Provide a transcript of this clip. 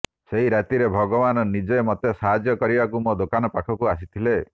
ସେହି ରାତିରେ ଭଗବାନ ନିଜେ ମୋତେ ସାହାଯ୍ୟ କରିବାକୁ ମୋ ଦୋକାନ ପାଖକୁ ଆସିଥିଲେ